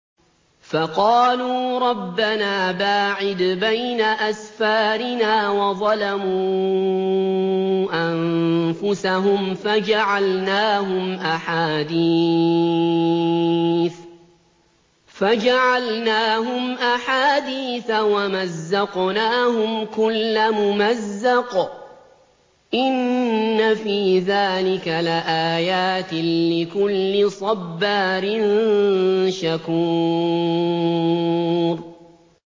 فَقَالُوا رَبَّنَا بَاعِدْ بَيْنَ أَسْفَارِنَا وَظَلَمُوا أَنفُسَهُمْ فَجَعَلْنَاهُمْ أَحَادِيثَ وَمَزَّقْنَاهُمْ كُلَّ مُمَزَّقٍ ۚ إِنَّ فِي ذَٰلِكَ لَآيَاتٍ لِّكُلِّ صَبَّارٍ شَكُورٍ